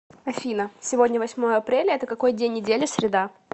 афина сегодня восьмое апреля это какой день недели среда